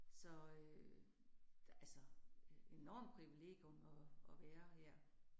Så øh altså øh enormt privilegium at at være her